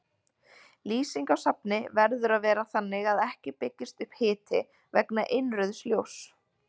Lýsing á safni verður að vera þannig að ekki byggist upp hiti vegna innrauðs ljóss.